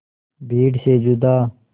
भीड़ से जुदा